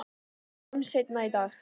Sjáumst seinna í dag